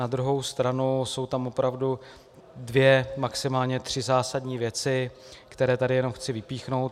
Na druhou stranu jsou tam opravdu dvě, maximálně tři zásadní věci, které tady jenom chci vypíchnout.